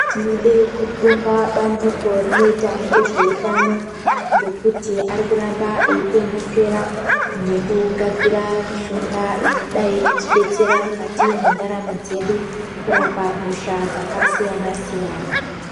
Tinode kubonga bandiko rinoita nezveutano ngekuti ari kuramba eikwenenzvera ngekugadzire mushonga inodai kuti detsera mundaramo dzedu kurapa hosha dzakasiyana siyana.